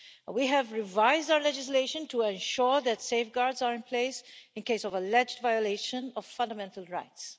We have revised our legislation to ensure that safeguards are in place in case of alleged violation of fundamental rights.